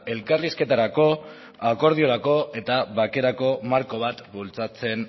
elkarrizketarako akordiorako eta bakerako marko bat bultzatzen